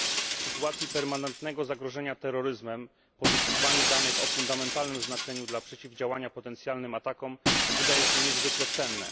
W sytuacji permanentnego zagrożenia terroryzmem pozyskiwanie danych o fundamentalnym znaczeniu dla przeciwdziałania potencjalnym atakom wydaje się niezwykle cenne.